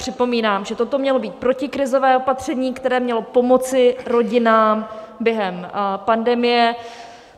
Připomínám, že toto mělo být protikrizové opatření, které mělo pomoci rodinám během pandemie.